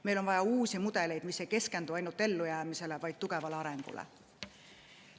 Meil on vaja uusi mudeleid, mis ei keskendu ainult ellujäämisele, vaid tugevale arengule.